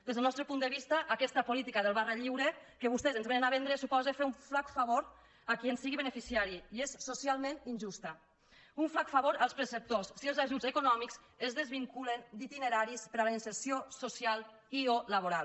des del nostre punt de vista aquesta política de barra lliure que vostès ens vénen a vendre suposa fer un flac favor a qui en sigui beneficiari i és socialment injusta un flac favor als perceptors si els ajuts econòmics es desvinculen d’itineraris per a la inserció social i o laboral